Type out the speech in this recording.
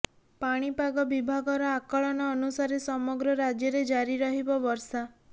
ପାଣିପାଗ ବିଭାଗର ଆକଳନ ଅନୁସାରେ ସମଗ୍ର ରାଜ୍ୟରେ ଜାରି ରହିବ ବର୍ଷା